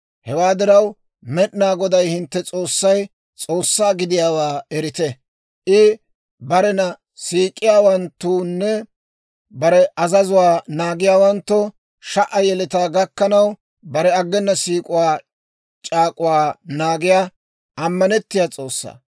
Hewaa diraw, Med'inaa Goday hintte S'oossay S'oossaa gidiyaawaa erite. I barena siik'iyaawanttoonne bare azazuwaa naagiyaawanttoo sha"a yeletaa gakkanaw, bare aggena siik'uwaa c'aak'uwaa naagiyaa, ammanettiyaa S'oossa.